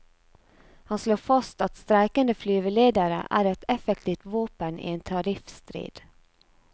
Han slår fast at streikende flyveledere er et effektivt våpen i en tariffstrid.